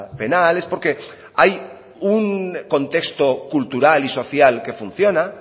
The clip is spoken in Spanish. penal es porque hay un contexto cultural y social que funciona